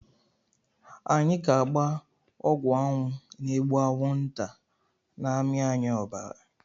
Anyị ga-agba ọgwụ anwụ ga-egbu anwụnta na amị anyị obara